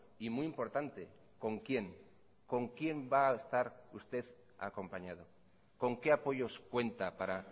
y muy importante con quién con quién va a estar usted acompañado con qué apoyos cuenta para